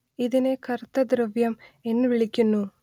ഇതിനെ കറുത്ത ദ്രവ്യം എന്നു വിളിക്കുന്നു